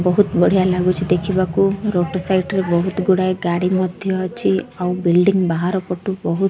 ବହୁତ ବଢ଼ିଆ ଲାଗୁଛି ଦେଖିବାକୁ ରୋଡ ସାଇଟ୍ ରେ ବହୁତ ଗୁଡ଼ାଏ ଗାଡ଼ି ମଧ୍ୟ ଅଛି ଆଉ ବିଲଡ଼ିଂ ବାହାର ପଟୁ ବହୁତ୍ --